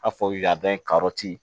A fɔ y'a dɔn karɔti